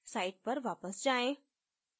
site पर वापस जायें